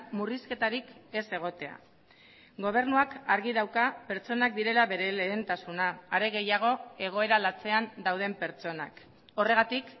murrizketarik ez egotea gobernuak argi dauka pertsonak direla bere lehentasuna are gehiago egoera latzean dauden pertsonak horregatik